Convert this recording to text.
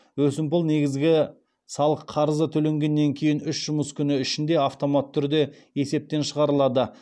өсімпұл негізгі салық қарызы төлегеннен кейін үш жұмыс күні ішінде автоматты түрде есептен шығарылады